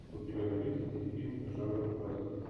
у тебя найдется телефильм жанр вестерн